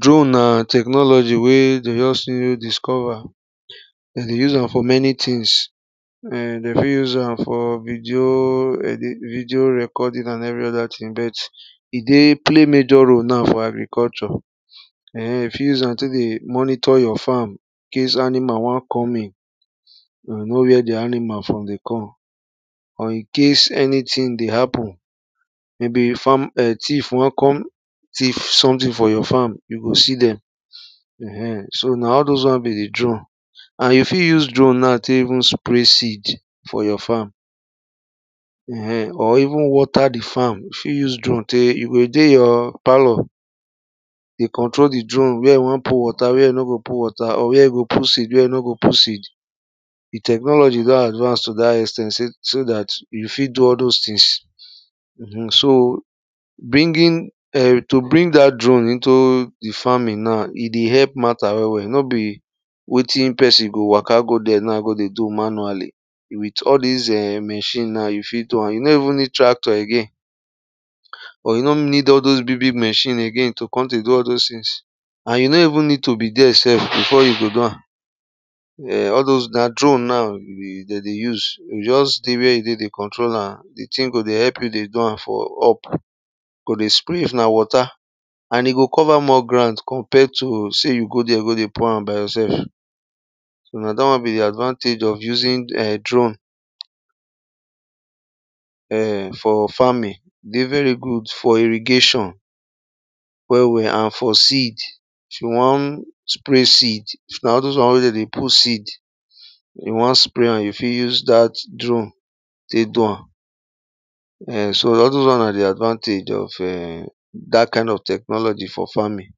drone na technology wey de just still discover. de dey se am for many things um de fit fit use am for vidio recording but e dey play major role na for agriculture. um you fit use am tek dey monitor your farm incase animal won come in, you go know where di animal from dey come or incase anything dey happen or incase thief won kon thief anything from your farm, you go see dem. um so na all those won be di drone. and you fit use drone na tek even spray seed for your farm, um or even water di farm you fit use drone tek, you go dey your palor dey control di drone where you won put water, were you no wan put water, or where you go put seed where you no go put seed. di technology don advance to dat ex ten t so so dat you o fit do all those tins.[um] briging um to bring dat drone into, di farming na e dey help matta well well nor be wetin pesin go waka go there na go dey do manually with all dis um machine na you o fit do am. you nor even need tractor again or you no need all those big big machine again to come dey do all those things, or you nor need to be there self before you go do am um all those na drone na de dey use. you o just dey where you dey dey control am di tin go just dey were e dey dey do am for up go dey spray if na water and e go cover more grand compare to sey you go dey go dey pour am by yourself. so na dat wan be di advantage of using drone. um for farming, e dey very good for irrigation well well and for seed if you won spray seed if na all those wan where de dey put seed, you wan spray am you fit use dat drone tek do am, um so all those wan na advantage of um dat kind of technology for farming.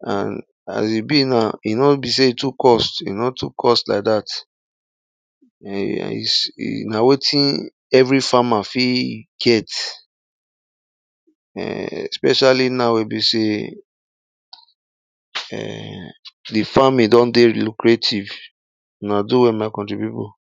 and as e be na e nor be sey e too cost, e nor too cost like dat na wetin every farmer fit get um especially now wey e be sey um di farming don dey lucrative. una do well my country pipu.